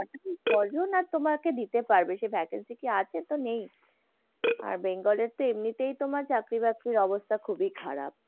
কয়জন তোমাকে দিতে পারবে সেই vacancy কি আছে? তো নেই। আর বেঙ্গলের তো এমনিতেই তোমার চাকরি-বাকরির অবস্থা খুবই খারাপ।